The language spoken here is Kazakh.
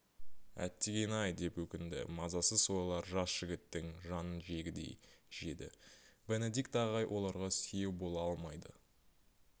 әттеген-ай деп өкінді мазасыз ойлар жас жігіттің жанын жегідей жеді бенедикт ағай оларға сүйеу бола алмайды